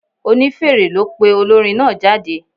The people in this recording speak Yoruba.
Onífèrè ló pe olórin náà jáde.